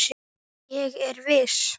Ég er viss.